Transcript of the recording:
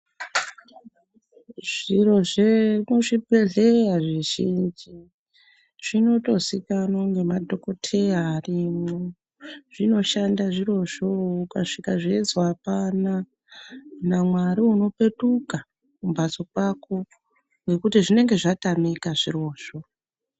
Zviro zvekuchibhedhleya zvizhinji zvinotozikanwa ngemadhokodheya arimwo zvinoshanda zvirozvo ukasvika zveizwi apana naMwari unopetuka kumbatso kwako ngekuti zvinenge zvatamika zvirozvo.